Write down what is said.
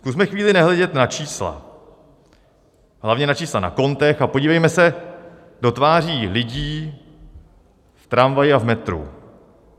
Zkusme chvíli nehledět na čísla, hlavně na čísla na kontech, a podívejme se do tváří lidí v tramvaji a metru.